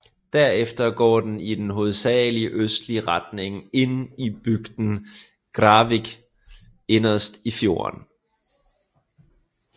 Derfra går den i en hovedsagelig østlig retning ind til bygden Gravvik inderst i fjorden